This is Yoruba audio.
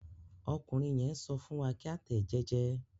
Ọkùnrin yẹn n sọ fún wa ki a tẹ ẹ jẹjẹ.